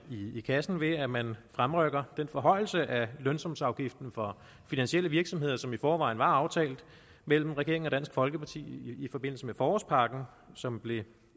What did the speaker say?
i kassen ved at man fremrykker den forhøjelse af lønsumsafgiften for finansielle virksomheder som i forvejen var aftalt mellem regeringen og dansk folkeparti i forbindelse med forårspakken som blev